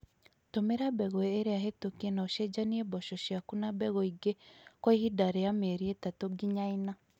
Tũmira mbegũ ĩrĩa hetũkie na ũcenjanie mboco ciaku na mbegũ ingĩ kwa ihinda rĩa mieri itatũ nginya ĩna